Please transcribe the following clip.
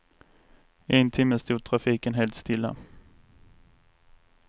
I en timme stod trafiken helt stilla.